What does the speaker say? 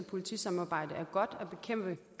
som